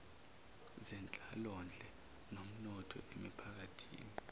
zenhlalonhle nomnotho emiphakathini